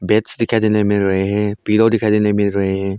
Beds दिखाई देने मिल रहे है पिलो दिखाई देने मिल रहे है।